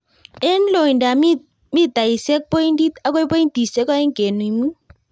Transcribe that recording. En lointap mitaisiek pointit akoi pointisiek oeng' kenuch mut.